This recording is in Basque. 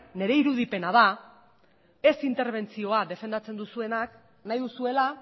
nire irudipena da ez interbentzioa defendatzen duzuenak nahi duzuela